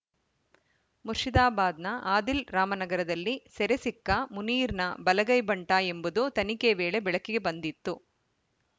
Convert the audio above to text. ಮುರ್ಷಿದಾಬಾದ್‌ನ ಆದಿಲ್‌ ರಾಮನಗರದಲ್ಲಿ ಸೆರೆ ಸಿಕ್ಕ ಮುನೀರ್‌ನ ಬಲಗೈ ಬಂಟ ಎಂಬುದು ತನಿಖೆ ವೇಳೆ ಬೆಳಕಿಗೆ ಬಂದಿತ್ತು